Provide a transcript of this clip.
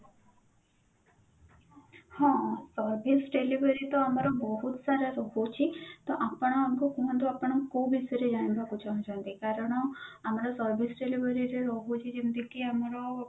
ହଁ service delivery ତ ଆମର ବହୁତ ସାରା ରହୁଛି ତ ଆପଣ ଆମକୁ କୁହନ୍ତୁ ଆପଣ କୋଉ ବିଷୟରେ ଜାଣିବାକୁ ଚହୁଁଛନ୍ତି କାରଣ ଆମର service delivery ରେ ରହୁଛି ଯେମିତି କି ଆମର